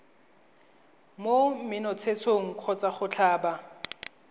mo menontshetsong kgotsa go tlhaba